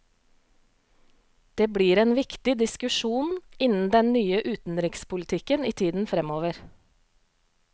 Det blir en viktig diskusjon innen den nye utenrikspolitikken i tiden fremover.